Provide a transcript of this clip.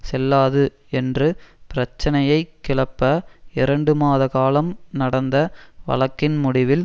செல்லாது என்று பிரச்சனையை கிளப்ப இரண்டு மாத காலம் நடந்த வழக்கின் முடிவில்